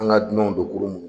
An ga dunɔnw don kurun munnu